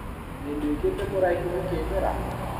Nĩnduĩkĩte mũraihu ũkĩndora?